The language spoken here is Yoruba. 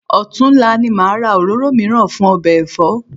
Ọ̀tunla ni màá ra òróró mìíràn fún ọbẹ̀ ẹ̀fọ́